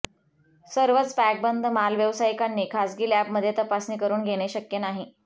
सर्वच पॅकबंद माल व्यावसायिकांनी खासगी लॅबमध्ये तपासणी करून घेणे शक्य नाही